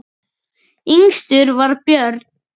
Yngstur var Björn.